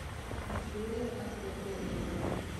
виктория ангатольевна